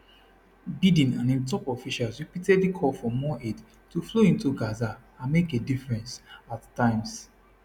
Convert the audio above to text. biden and im top officials repeatedly call for more aid to flow into gaza and make a difference at times